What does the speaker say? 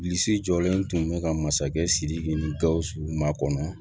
Bilisi jɔlen tun bɛ ka masakɛ siriki ni gawusu makɔnɔ